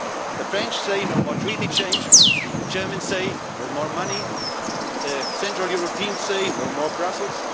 ambitions. The French say no more Treaty change, the Germans say no more money, the Central Europeans say no more